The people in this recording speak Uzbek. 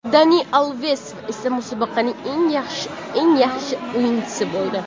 Dani Alves esa musobaqaning eng yaxshi o‘yinchisi bo‘ldi.